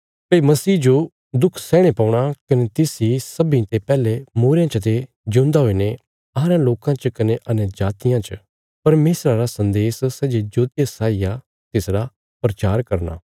भई मसीह जो दुख सैहणे पौणा कने तिस इ सब्बीं ते पैहले मूईरेयां चते जिऊंदा हुईने अहां रयां लोकां च कने अन्यजातियां च परमेशरा रा सन्देश सै जे ज्योतिया साई आ तिसरा प्रचार करना